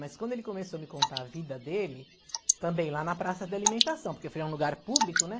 Mas quando ele começou a me contar a vida dele, também lá na Praça da Alimentação, porque foi um lugar público, né?